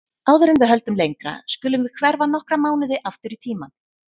Áður en við höldum lengra skulum við hverfa nokkra mánuði aftur í tímann.